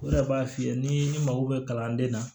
O yɛrɛ b'a f'i ye ni ne mago bɛ kalanden na